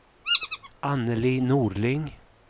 Annelie Norling